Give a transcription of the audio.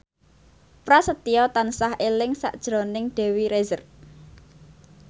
Prasetyo tansah eling sakjroning Dewi Rezer